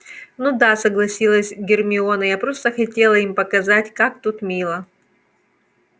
ну да согласилась гермиона я просто хотела им показать как тут мило